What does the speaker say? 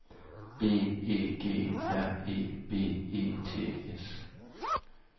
B E G R E B E T S